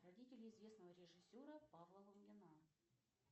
родители известного режиссера павла лунгина